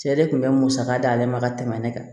Cɛ de kun bɛ musaka d'ale ma ka tɛmɛ ne kan